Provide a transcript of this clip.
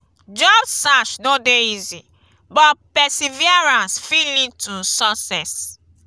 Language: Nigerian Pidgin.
job search no dey easy but perseverance fit lead to success.